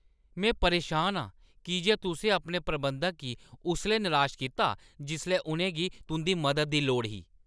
में परेशान आं की जे तुसें अपने प्रबंधक गी उसलै निराश कीता जिसलै उʼनें गी तुंʼदी मदद दी लोड़ ही।